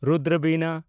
ᱨᱩᱫᱨᱚ ᱵᱤᱱᱟ